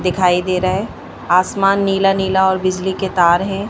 दिखाई दे रहा है। आसमान नीला नीला और बिजली के तार है।